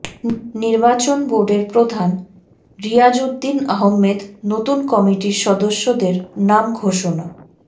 নির্বাচন বোর্ডের প্রধান রিয়াজউদ্দিন আহমেদ নতুন কমিটির সদস্যদের নাম ঘোষণা